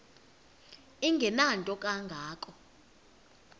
engenanto kanga ko